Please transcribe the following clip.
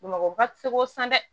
Bamakɔ ba ti se k'o san dɛ